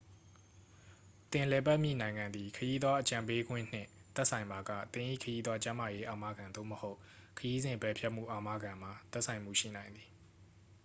သင်လည်ပတ်မည့် နိုင်ငံသည် ခရီးသွား အကြံပေးခွင့်နှင့် သက်ဆိုင်ပါက သင်၏ ခရီးသွား ကျန်းမာရေး အာမခံ သို့မဟုတ် ခရီးစဉ် ပယ်ဖျက်မှု အာမခံမှာ သက်ဆိုင်မှုရှိနိုင်သည်